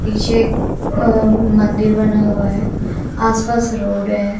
पीछे एक अं मंदिर बना हुआ है आसपास रोड है।